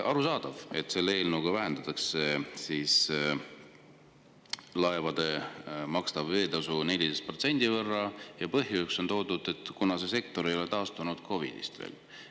Arusaadav, et selle eelnõuga vähendatakse laevade makstavat veeteetasu 14% võrra, ja põhjuseks on toodud, et see sektor ei ole veel COVID-ist taastunud.